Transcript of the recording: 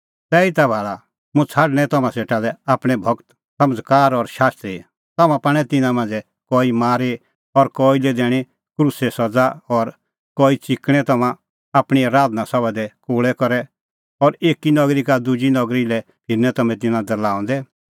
तैहीता भाल़ा मुंह छ़ाडणैं तम्हां सेटा लै आपणैं गूर समझ़कार और शास्त्री तम्हां पाणै तिन्नां मांझ़ै कई मारी और कई लै दैणीं क्रूसे सज़ा और कई च़िकणैं तम्हां आपणीं आराधना सभा दी कोल़ै करै और एकी नगरी का दुजी नगरी लै फिरनैं तम्हैं तिन्नां दरल़ाऊंदै